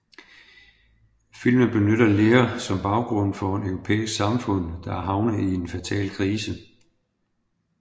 Filmen benytter Lear som baggrund for et europæisk samfund der er havnet i en fatal krise